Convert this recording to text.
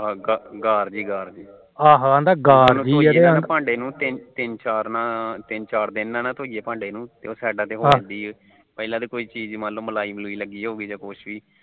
ਤਿੰਨ ਚਾਰ ਤਿੰਨ ਚਾਰ ਦਿਨ ਨਾ ਧੋਈਏ ਉਹ side ਤੇ ਹੋ ਜਾਂਦੀ ਏ ਪਹਿਲਾ ਤਾ ਜਿੰਦਾ ਮਲਾਈ ਮਲੁਈ ਲੱਗੀ ਹੋਉਗੀ ਜਿਦਾ ਕੁਛ ਵੀ